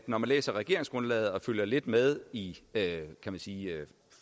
man læser regeringsgrundlaget og har fulgt lidt med i kan man sige